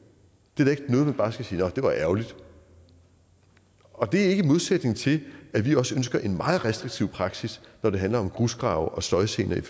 der skal sige nå det var ærgerligt og det er ikke i modsætning til at vi også ønsker en meget restriktiv praksis når det handler om grusgrave og støjgener i